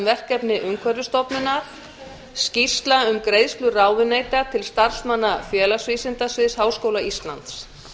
verkefni umhverfisstofnunar fjórða skýrsla um greiðslu ráðuneyta til starfsmanna félagsvísindasviðs háskóla íslands